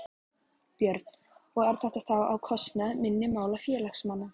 Björn: Og er þetta þá á kostnað minni mála félagsmanna?